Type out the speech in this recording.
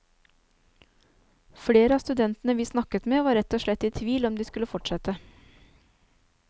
Flere av studentene vi snakke med var rett og slett i tvil om de skulle fortsette.